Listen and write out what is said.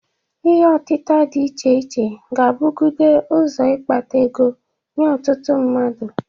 Ihe ọtịta dị iche iche ga-abụgide ụzọ ịkpata ego nye ụtụtụ mmadụ.